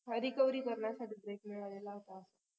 recovery करण्यासाठी बराच वेळ लागला होतं